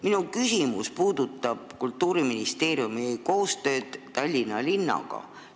Minu küsimus puudutab Kultuuriministeeriumi koostööd Tallinna linnaga.